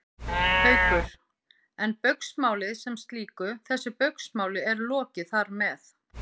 Haukur: En Baugsmáli sem slíku, þessu Baugsmáli er lokið þar með?